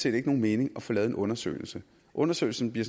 ikke give nogen mening at få lavet en undersøgelse undersøgelsen bliver